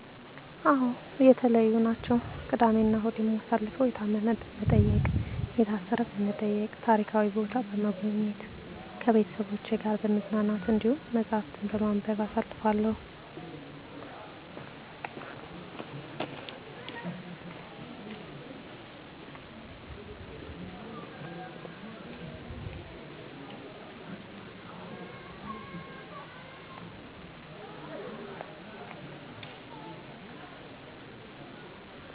አዎ የተለዩ ናቸው። ቅዳሜ እናሁድ የማሳልፈው የታመመ በመጠየቅ፣ የታሰረ በመጠየቅ፣ ታሪካዊ ቦታ በሞጎብኘት፣ ከቤተሰቤ ጋር በመዝናናት፣ እንዲሁም መፀሀፍትን በማንበብ አሳልፋለሁ።